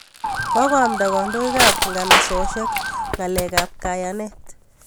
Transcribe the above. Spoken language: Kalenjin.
Kokoamnda kandoik ap nganasosyek ng'alek ap kayanet